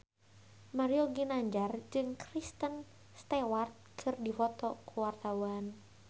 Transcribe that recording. Mario Ginanjar jeung Kristen Stewart keur dipoto ku wartawan